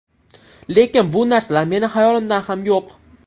Lekin bu narsalar meni xayolimda ham yo‘q.